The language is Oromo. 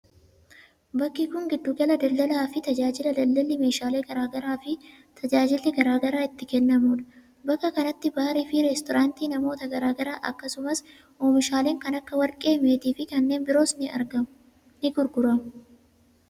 Bakki kun, giddu gala daldalaa fi tajaajilaa daldalli meeshaalee garaa garaa fi tajaajilli garaa garaa itti kennamuu dha. Bakka kanatti baarii fi restoraantiin namoota garaa garaa akkasumas oomishaaleen kan akka warqee, meetii fi kanneen biroos ni gurguramu.